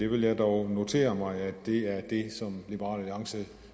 vil dog notere mig at det er det som liberal alliance